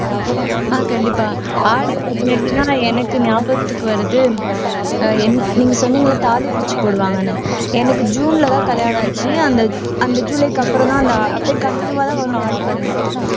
ஆஹ் கண்டிப்பா ஆடி பதினெட்டுன்னா நான் எனக்கு ஞாபகத்துக்கு வர்றது என் நீங்க சொன்னீங்கல்ல தாலி பிச்சு போடுவாங்கன்னு எனக்கு ஜூன்லதான் கல்யாணம் ஆச்சு அந்த அந்த ஜூலைக்கு அப்புறம்தான் அந்த அப்படியே continue ஆதான் வரும் ஆடி பதினெட்டு